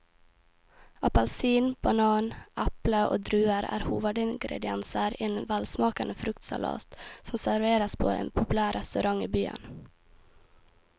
Appelsin, banan, eple og druer er hovedingredienser i en velsmakende fruktsalat som serveres på en populær restaurant i byen.